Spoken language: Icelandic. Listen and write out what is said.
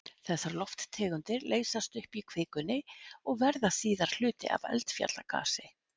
Þessar lofttegundir leysast upp í kvikunni og verða síðar hluti af eldfjallagasi.